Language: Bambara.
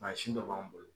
Mansin dɔ b'an bolo